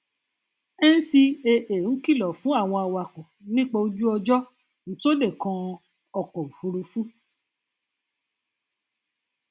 gẹgẹ bí agbẹ tí mo bá mú ogún um tọn òṣùṣú tí mo sì tà á nko